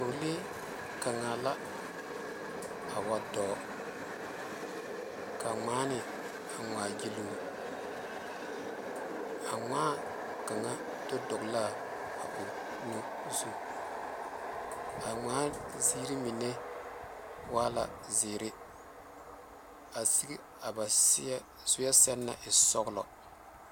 Pɔgelee kaŋ la wa dɔ ka ŋmaaŋa wa ŋma gyile o a ŋmaa kaŋ do dɔle la a o nu zu a ŋmaaŋ ziiri mine wa la zeɛre a seŋe a ba zuuɛ pare e soɔlɔ.